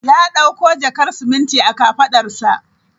Ya dauko jakar siminti a kafadarsa.